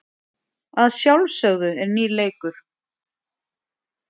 Að sjálfsögðu er nýr leikur.